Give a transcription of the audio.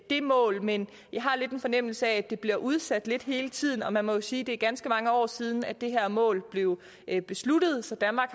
det mål men jeg har lidt en fornemmelse af at det bliver udsat lidt hele tiden og man må jo sige at det er ganske mange år siden det her mål blev besluttet så danmark